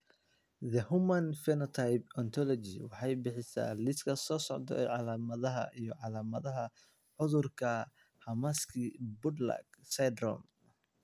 The Human Phenotype Ontology waxay bixisaa liiska soo socda ee calaamadaha iyo calaamadaha cudurka Hermansky Pudlak syndrome.